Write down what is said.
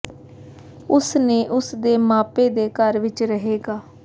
ਉਸ ਨੇ ਉਸ ਦੇ ਮਾਪੇ ਦੇ ਘਰ ਵਿੱਚ ਰਹੇਗਾ